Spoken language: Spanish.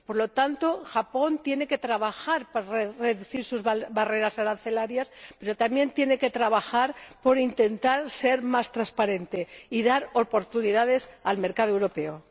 Por lo tanto, Japón tiene que trabajar para reducir sus barreras arancelarias, pero también tiene que trabajar por intentar ser más transparente y dar oportunidades al mercado europeo.